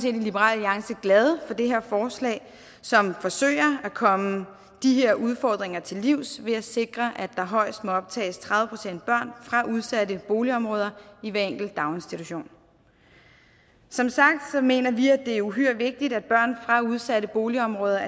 i liberal alliance glade for det her forslag som forsøger at komme de her udfordringer til livs ved at sikre at der højst må optages tredive procent børn fra udsatte boligområder i hver enkelt daginstitution som sagt mener vi det er uhyre vigtigt at børn fra udsatte boligområder